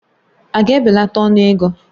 Ága ebelata ọnụ ego?